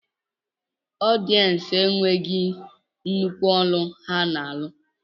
Ọdiyencu enweghim nnukwu ọlụ ha na alụ.